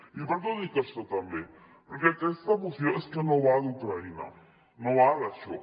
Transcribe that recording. i per què ho dic això també perquè aquesta moció és que no va d’ucraïna no va d’això